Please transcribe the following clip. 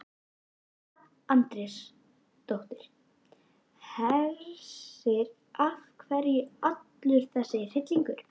Edda Andrésdóttir: Hersir, af hverju allur þessi hryllingur?